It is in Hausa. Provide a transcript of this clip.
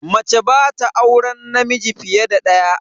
Mace ba ta auren namiji fiye da daya.